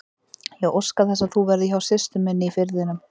Ég óska þess að þú verðir hjá systur minni í Firðinum.